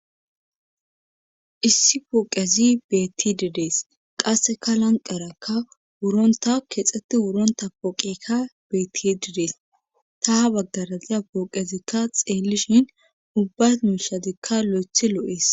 Issi pooqezi bettidi dees qasseka lanqarakka wuronta keexxeti wuronta pooqekka beetti didees ta ha baggaraziya pooqezikka xeelishin ubba muushadikka lo7ethi loo7is.